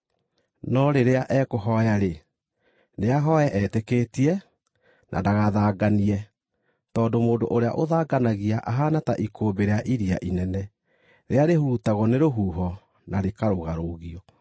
No rĩrĩa ekũhooya-rĩ, nĩahooe etĩkĩtie, na ndagathanganie, tondũ mũndũ ũrĩa ũthanganagia ahaana ta ikũmbĩ rĩa iria inene, rĩrĩa rĩhurutagwo nĩ rũhuho na rĩkarũgarũũgio.